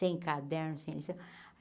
Sem cadernos, sem lição.